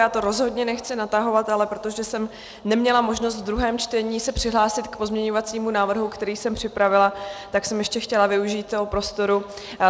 Já to rozhodně nechci natahovat, ale protože jsem neměla možnost ve druhém čtení se přihlásit k pozměňovacímu návrhu, který jsem připravila, tak jsem ještě chtěla využít toho prostoru.